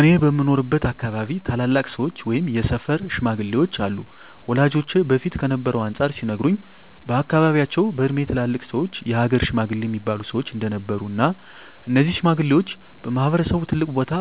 እኔ በምኖርበት አካባቢ ታላላቅ ሰዎች ወይም የሰፈር ሽማግሌዎች አሉ ወላጆቼ በፊት ከነበረው አንፃር ሲነግሩኝ በአካባቢያቸው በእድሜ ትላልቅ ሰዎች የሀገር ሽማግሌ እሚባሉ ሰዎች እንደነበሩ እና እነዚህ ሽማግሌዎች በማህበረሰቡ ትልቅ ቦታ